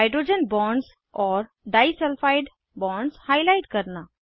hydrogen bonds और disulphide bonds highlight करना